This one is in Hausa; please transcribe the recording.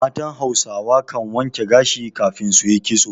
Matan Hausawa kan wanke gashi kafin su yi ƙitso.